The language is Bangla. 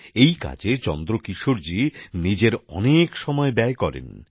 এই কাজে চন্দ্রকিশোরজি নিজের অনেক সময় ব্যয় করেন